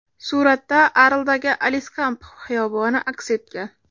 Suratda Arldagi Aliskamp xiyoboni aks etgan.